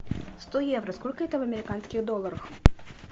сто евро сколько это в американских долларах